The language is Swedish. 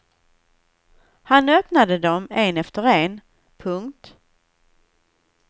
Han öppnade dem en efter en. punkt